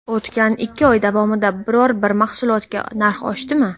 O‘tgan ikki oy davomida biror bir mahsulotga narx oshdimi?